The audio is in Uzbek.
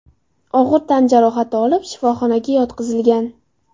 og‘ir tan jarohati olib, shifoxonaga yotqizilgan.